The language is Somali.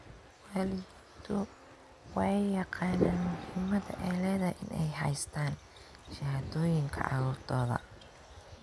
Waalidiintu waa ay yaqaaniin muhiimadda ay leedahay in ay haystaan ??shahaadooyinka carruurtooda.